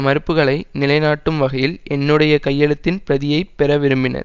மறுப்புக்களை நிலைநாட்டும் வகையில் என்னுடைய கையெழுத்தின் பிரதியை பெற விரும்பினர்